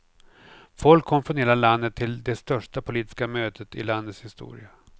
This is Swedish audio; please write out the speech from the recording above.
Folk kom från hela landet till det största politiska mötet i landets historia.